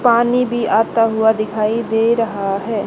पानी भी आता हुआ दिखाई दे रहा है।